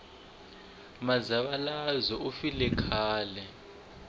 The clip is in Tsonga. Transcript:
muzavalazo wu file khale